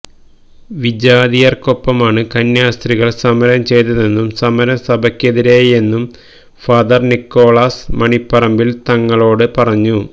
വിജാതിയർക്കൊപ്പമാണ് കന്യാസ്ത്രീകൾ സമരം ചെയ്തതെന്നും സമരം സഭക്കെതിരായെന്നും ഫാദർ നിക്കോളാസ് മണിപ്പറമ്പിൽ തങ്ങളോട് പറഞ്ഞു